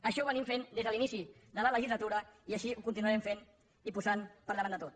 això ho hem fet des de l’inici de la legislatura i així ho continuarem fent i posant per davant de tot